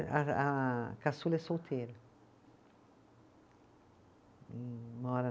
A a caçula é solteira. Mora